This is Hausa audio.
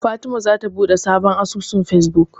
Fatima zata buɗe sabon asusun Fesbuk.